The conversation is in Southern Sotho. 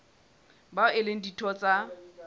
bao e leng ditho tsa